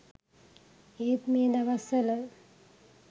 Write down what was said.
ඒත් මේ දවස්වල